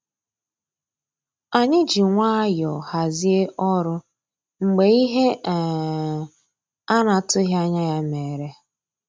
Ànyị́ jì nwayọ́ọ̀ hàzíé ọ́rụ́ mgbeé íhé um á ná-àtụ́ghị́ ànyá yá mérè.